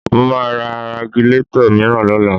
Mo máa ra Ragilatọ̀ mìíràn lọ́la